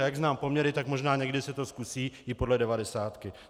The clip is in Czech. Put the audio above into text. A jak znám poměry, tak možná někdy se to zkusí i podle devadesátky.